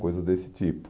Coisas desse tipo.